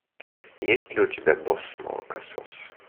есть ли у тебя босс молокосос